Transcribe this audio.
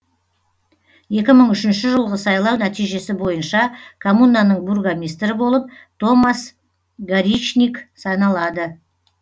екі мың үшінші жылғы сайлау нәтижесі бойынша коммунаның бургомистрі болып томас горичниг саналады